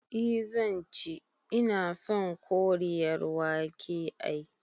I zanci, ina son Koriyar wake ai